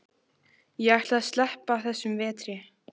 Ég ætla að sleppa þessum vetri.